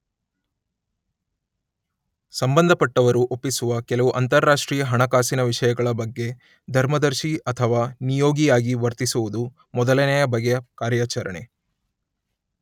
ಸಂಬಂಧಪಟ್ಟವರು ಒಪ್ಪಿಸುವ ಕೆಲವು ಅಂತಾರಾಷ್ಟ್ರೀಯ ಹಣಕಾಸಿನ ವಿಷಯಗಳ ಬಗ್ಗೆ ಧರ್ಮದರ್ಶಿ ಅಥವಾ ನಿಯೋಗಿ ಆಗಿ ವರ್ತಿಸುವುದು ಮೊದಲನೆಯ ಬಗೆಯ ಕಾರ್ಯಾಚರಣೆ.